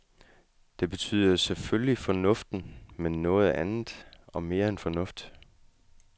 Det betyder selvfølgelig fornuften, men noget andet og mere end fornuft.